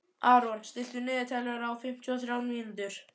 Aron, stilltu niðurteljara á fimmtíu og þrjár mínútur.